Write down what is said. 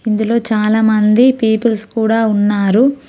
ఇందులో చాలామంది పీపుల్స్ కూడా ఉన్నారు.